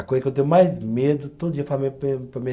A coisa que eu tenho mais medo, todo dia falo para minha